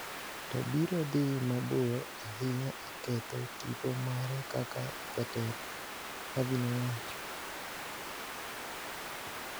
to biro dhi mabor ahinya e ketho tipo mare kaka jatelo, Havi nowacho.